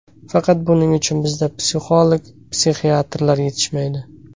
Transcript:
Faqat buning uchun bizda psixolog, psixiatrlar yetishmaydi.